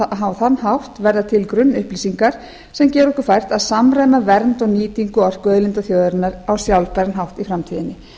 á þann hátt verða til grunnupplýsingar sem gera okkur fært að samræma vernd og nýtingu orkuauðlinda þjóðarinnar á sjálfbæran hátt í framtíðinni